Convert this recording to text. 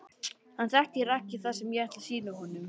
Hann þekkir ekki það sem ég ætla að sýna honum.